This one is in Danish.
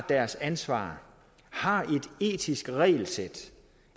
deres ansvar har et etisk regelsæt